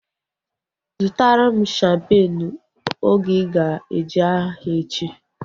Zụtara m shampeenu oge ịga eje ahịa echi!